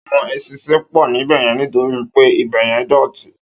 Áwòn éṣìnṣìn pò níbèyèn nitóri pé ibèyèn dòtí